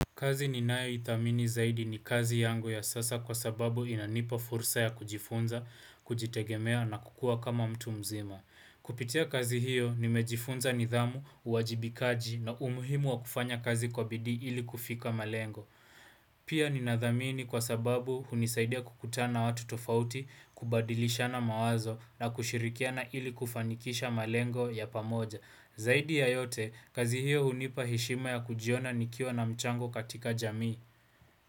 Kazi ni nayoithamini zaidi ni kazi yangu ya sasa kwa sababu inanipa fursa ya kujifunza, kujitegemea na kukua kama mtu mzima. Kupitia kazi hiyo nimejifunza nidhamu, uwajibikaji na umuhimu wa kufanya kazi kwa bidii ili kufika malengo. Pia ninathamini kwa sababu hunisaidia kukutana watu tofauti, kubadilishana mawazo na kushirikiana ili kufanikisha malengo ya pamoja. Zaidi ya yote, kazi hiyo unipa heshima ya kujiona nikiwa na mchango katika jamii.